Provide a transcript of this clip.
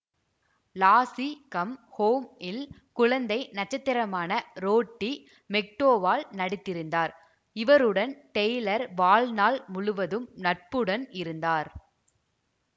lassi come home இல் குழந்தை நட்சத்திரமான ரோட்டி மெக்டோவால் நடித்திருந்தார் இவருடன் டெய்லர் வாழ்நாள் முழுவதும் நட்புடன் இருந்தார்